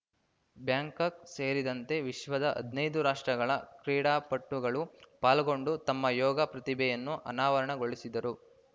Bangkok ಸೇರಿದಂತೆ ವಿಶ್ವದ ಹದನೈದು ರಾಷ್ಟ್ರಗಳ ಕ್ರೀಡಾಪಟುಗಳು ಪಾಲ್ಗೊಂಡು ತಮ್ಮ ಯೋಗ ಪ್ರತಿಭೆಯನ್ನು ಅನಾವರಣಗೊಳಿಸಿದರು